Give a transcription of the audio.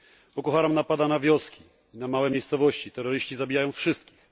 Boko Haram napada na wioski, na małe miejscowości. Terroryści zabijają wszystkich.